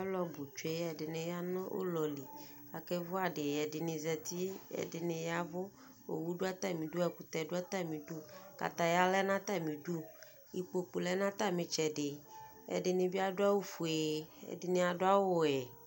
Alʋ nʋ tsue Ɛdɩnɩ ya nʋ ʋlɔ li k'akevi adɩ, ɛdenɩ zati, ɛdɩnɩ yavʋ, owu dʋ atamidu, ɛkʋtɛ dʋ atamidu, kataya lɛ n'atamidu, ikpoku lɛ n'atamitsɛdɩ, ɛdɩ bɩ adʋ awʋ fue, ɛdɩnɩ adʋ awʋ vɛ